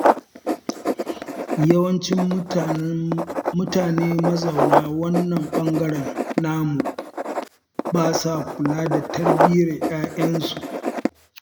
Yawancin mutane mazauna wannan bangaren namu ba sa kula da tarbiyyar 'ya'yansu.